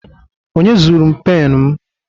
Onye zuru m pen m?